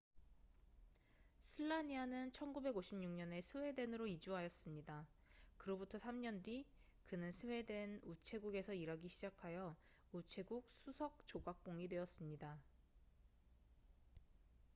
슬라니아는 1956년에 스웨덴으로 이주하였습니다 그로부터 3년 뒤 그는 스웨덴 우체국에서 일하기 시작하여 우체국 수석 조각공이 되었습니다